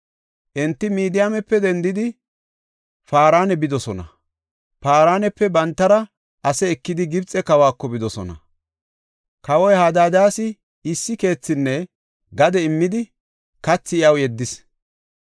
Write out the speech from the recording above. Enti Midiyaamepe dendidi Paarana bidosona; Paraanepe bantara ase ekidi Gibxe kawako bidosona. Kawoy Hadaadas issi keethinne gade immidi kathi iyaw yeddis.